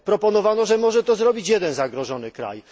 Proponowano, że może to zrobić jeden zagrożony kraj.